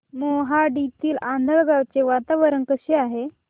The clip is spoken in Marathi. मोहाडीतील आंधळगाव चे वातावरण कसे आहे